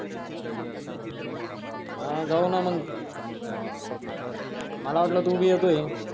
जाऊना मग मला वाटलं तू भी येतोय